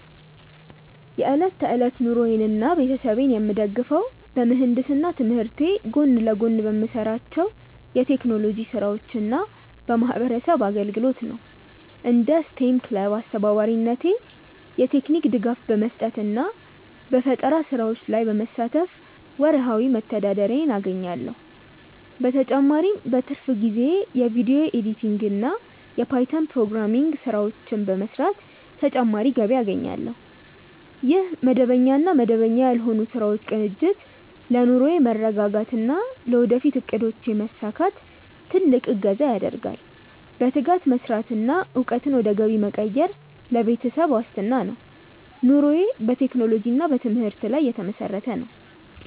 የዕለት ተዕለት ኑሮዬንና ቤተሰቤን የምደግፈው በምህንድስና ትምህርቴ ጎን ለጎን በምሰራቸው የቴክኖሎጂ ስራዎችና በማህበረሰብ አገልግሎት ነው። እንደ ስቴም ክለብ አስተባባሪነቴ የቴክኒክ ድጋፍ በመስጠትና በፈጠራ ስራዎች ላይ በመሳተፍ ወርሃዊ መተዳደሪያዬን አገኛለሁ። በተጨማሪም በትርፍ ጊዜዬ የቪዲዮ ኤዲቲንግና የፓይተን ፕሮግራሚንግ ስራዎችን በመስራት ተጨማሪ ገቢ አገኛለሁ። ይህ መደበኛና መደበኛ ያልሆኑ ስራዎች ቅንጅት ለኑሮዬ መረጋጋትና ለወደፊት እቅዶቼ መሳካት ትልቅ እገዛ ያደርጋል። በትጋት መስራትና እውቀትን ወደ ገቢ መቀየር ለቤተሰብ ዋስትና ነው። ኑሮዬ በቴክኖሎጂና በትምህርት ላይ የተመሰረተ ነው።